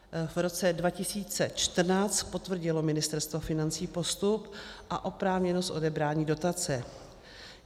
V roce 2014 potvrdilo Ministerstvo financí postup a oprávněnost odebrání dotace.